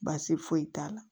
Baasi foyi t'a la